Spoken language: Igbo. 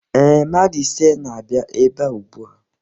Ee, mmadụ ise na-abịa ebe a ugbua.